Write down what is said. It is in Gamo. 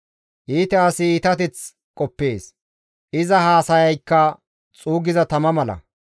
Iita asi iitateth qoppees; iza haasayaykka xuuggiza tama mala.